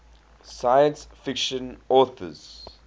science fiction authors